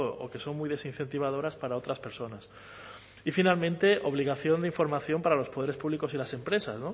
o que son muy desincentivadoras para otras personas y finalmente obligación de información para los poderes públicos y las empresas